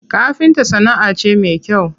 Kafinta sana'a ce me kyau.